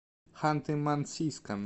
ханты мансийском